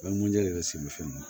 de bɛ se ni fɛn min ye